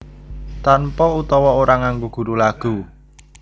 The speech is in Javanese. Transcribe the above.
Tanpa utawa ora nganggo guru lagu